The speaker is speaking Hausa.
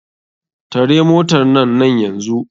Tare motarnan nan yanzu.